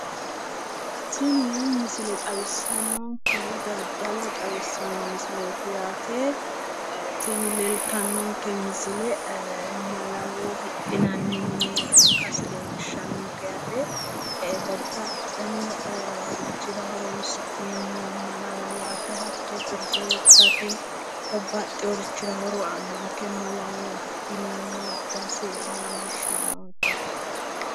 Tini misile xawissannonkehu daddalo xawissanno misileeti yaate. Tini leeltannonke misile malawo hidhinanni mine ikkasi leellishannonke yaate. Babbaxxinorichira horoonsi'neemmo malawo yaate hatto birze wodhate babbaxxiworichira horo aannonke malawo hidhineemmo base leellishshannonkete.